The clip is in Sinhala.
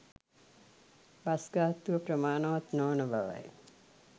බස් ගාස්තුව ප්‍රමාණවත් නොවන බවයි.